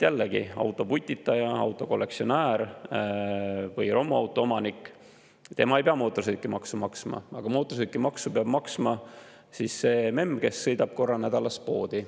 Jällegi, autoputitaja, autokollektsionäär või romuauto omanik ei pea mootorsõidukimaksu maksma, aga mootorsõidukimaksu peab maksma see memm, kes sõidab korra nädalas poodi.